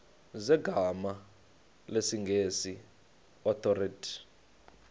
zegama lesngesn authorit